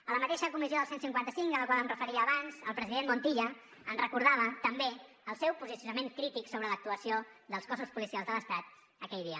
a la mateixa comissió del cent i cinquanta cinc a la qual em referia abans el president montilla ens recordava també el seu posicionament crític sobre l’actuació dels cossos policials de l’estat aquell dia